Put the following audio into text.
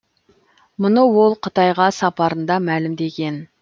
мұны ол қытайға сапарында мәлімдеген